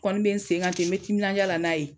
Kɔni be sen kan ten n be timinanja la n'a ye